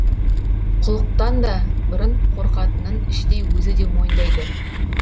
құлықтан да бұрын қорқатынын іштей өзі де мойындайды